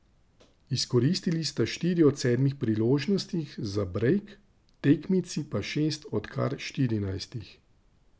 Izkoristili sta štiri od sedmih priložnosti za brejk, tekmici pa šest od kar štirinajstih.